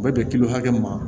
U bɛ bɛn kilo hakɛ ma